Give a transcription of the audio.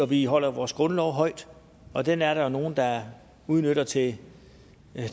vi holder vores grundlov højt og den er der jo nogen der udnytter til